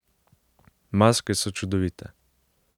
Maske so čudovite.